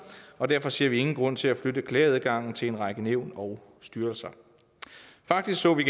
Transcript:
og derfor ser vi ingen grund til at flytte klageadgangen til en række nævn og styrelser faktisk så vi